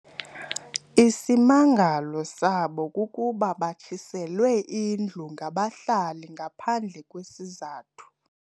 Isimangalo sabo kukuba batshiselwe indlu ngabahlali ngaphandle kwesizathu.